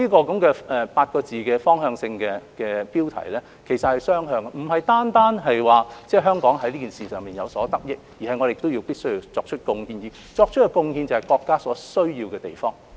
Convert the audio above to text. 這個8個字的方向性標題是雙向的，香港不單可以從中有所得益，亦必需要作出貢獻，而作出的貢獻就是國家所需要的地方。